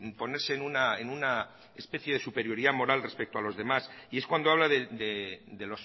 ponerse en una especie de superioridad moral respecto a los demás y es cuando habla de